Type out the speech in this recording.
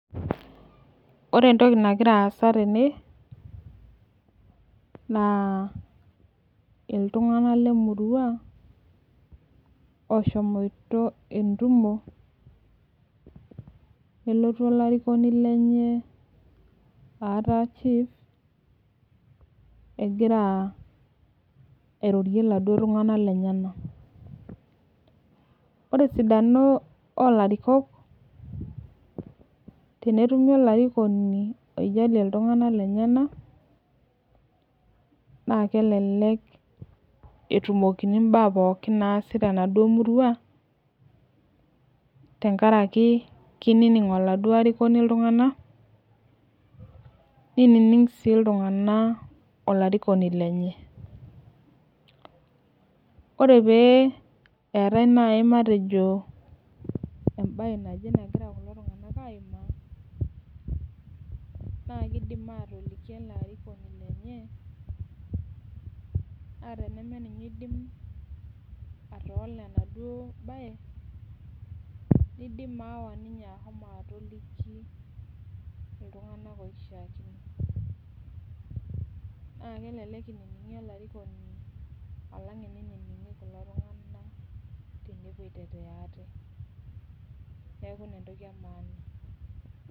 Ore entoki nagira aasa tene na iltunganak lrmurua oshomoito entumo nelotu olarikoni lenye egira airorie laduo tunganak lenyenak ore esidano olarikok tenetumi olarikoni oijalie ltunganak lenyenak na kelelej etumi temaduo murua tenkaraki kinining oladuo arikoni ltunganak nining si ltunganak olarikoni lenye ore peetai nai matejo entoki naji a kidina toliki metaa nidim ayawa ninye na kelek etumi olarikoni tenewueji neaku ina entoki etipat.